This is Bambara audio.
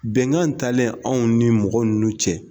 Bɛnkan in talen anw ni mɔgɔ ninnu cɛ.